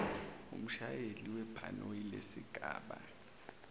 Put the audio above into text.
kumshayeli webhanoyi lesigaba